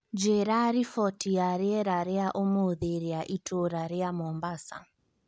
njĩĩra riboti ya rĩera rĩa ũmũthĩ rĩa itũũra rĩa mombasa